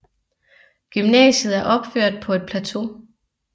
Gymnasiet er opført på et plateau